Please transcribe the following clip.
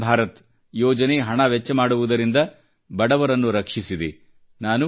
ಆಯುಷ್ಮಾನ್ ಭಾರತ ಯೋಜನೆಯು ಹಣ ವೆಚ್ಚ ಮಾಡುವುದರಿಂದ ಬಡವರನ್ನು ರಕ್ಷಿಸಿದೆ